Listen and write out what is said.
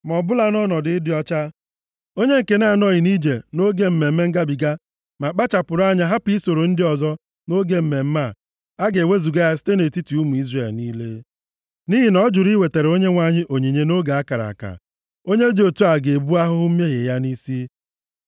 Ma ọbụla nọ nʼọnọdụ ịdị ọcha, onye nke na-anọghị nʼije nʼoge Mmemme Ngabiga ma kpachapụrụ anya hapụ isoro ndị ọzọ nʼoge mmemme a, a ga-ewezuga + 9:13 A ga-ewezuga Maọbụ, a ga-egbu onye dị otu ya site nʼetiti ụmụ Izrel niile, nʼihi na ọ jụrụ iwetara Onyenwe anyị onyinye nʼoge a kara aka. Onye dị otu a ga-ebu ahụhụ mmehie ya nʼisi ya.